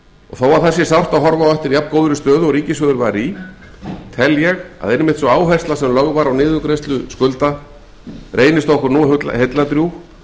og þó það sé sérstaklega sárt að horfa á eftir jafngóðri stöðu og ríkissjóður var í tel ég að einmitt sú áhersla sem lögð var á niðurgreiðslu skulda reynist okkur nú heilladrjúg